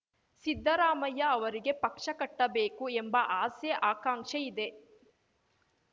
ಸಿದ್ದರಾಮಯ್ಯ ಅವರಿಗೆ ಪಕ್ಷ ಕಟ್ಟಬೇಕು ಎಂಬ ಆಸೆ ಆಕಾಂಕ್ಷೆ ಇದೆ